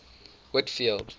whitfield